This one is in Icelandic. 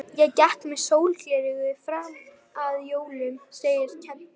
Ég gekk með sólgleraugu fram að jólum, segir Keli.